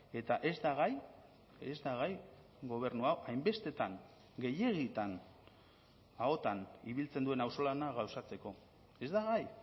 eta ez da gai ez da gai gobernu hau hainbestetan gehiegitan ahotan ibiltzen duen auzolana gauzatzeko ez da gai